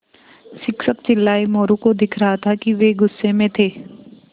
शिक्षक चिल्लाये मोरू को दिख रहा था कि वे गुस्से में थे